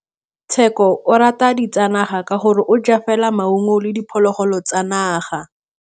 Tshekô o rata ditsanaga ka gore o ja fela maungo le diphologolo tsa naga.